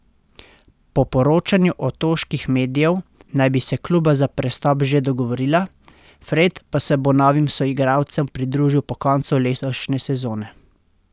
Po poročanju otoških medijev, naj bi se kluba za prestop že dogovorila, Fred pa se bo novim soigralcem pridružil po koncu letošnje sezone.